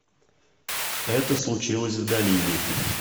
это случилось в долине